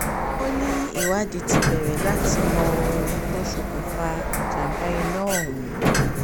ó ní ìwádìí ti bẹ̀rẹ̀ láti mọ ohun tó ṣokùnfà ìjàmbá iná ọ̀hún